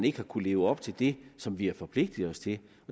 ikke har kunnet leve op til det som vi har forpligtet os til